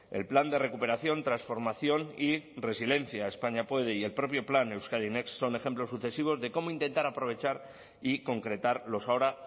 el plan de recuperación transformación y resiliencia españa puede y el propio plan euskadi next son ejemplos sucesivos de cómo intentar aprovechar y concretar los ahora